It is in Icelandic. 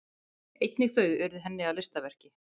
Einnig þau urðu henni að listaverki.